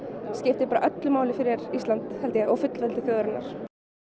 skiptir öllu máli fyrir Ísland held ég og fullveldi þjóðarinnar